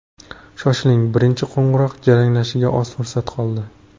Shoshiling, birinchi qo‘ng‘iroq jaranglashiga oz fursat qoldi!